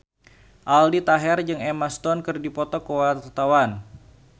Aldi Taher jeung Emma Stone keur dipoto ku wartawan